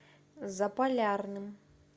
заполярным